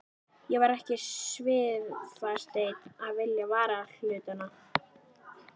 Ég var ekki svifaseinn að vitja varahlutanna.